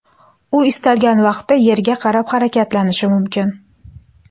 U istalgan vaqtda Yerga qarab harakatlanishi mumkin.